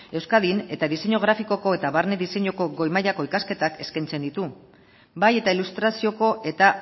euskadin eta diseinu grafikoko eta barne diseinuko goi mailako ikasketak eskaintzen ditu bai eta ilustrazioko eta